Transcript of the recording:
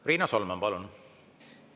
Riina Solman, palun!